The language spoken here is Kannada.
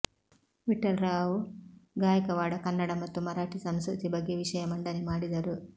ವಿಠ್ಠಲರಾವ್ ಗಾಯಕವಾಡ ಕನ್ನಡ ಮತ್ತು ಮರಾಠಿ ಸಂಸ್ಕೃತಿ ಬಗ್ಗೆ ವಿಷಯ ಮಂಡನೆ ಮಾಡಿದರು